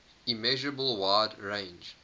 immeasurable wide range